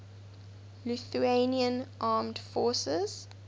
lithuanian armed forces